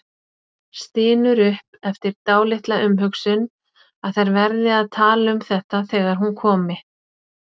Stynur upp eftir dálitla umhugsun að þær verði að tala um þetta þegar hún komi.